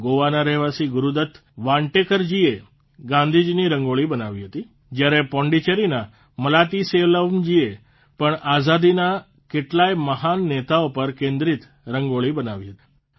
ગોવાના રહેવાસી ગુરૂદત્ત વાન્ટેકરજીએ ગાંધીજીની રંગોળી બનાવી હતી જયારે પોંડીચેરીના મલાતિસેલ્વમજીએ પણ આઝાદીના કેટલાય મહાન નેતાઓ પર કેન્દ્રિત રંગોળી બનાવી હતી